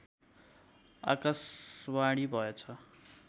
आकाशवाणी भएछ